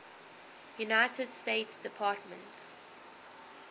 united states department